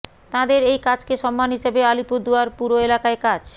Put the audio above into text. তাঁদের এই কাজকে সম্মান হিসাবে আলিপুরদুয়ার পুর এলাকায় কাজ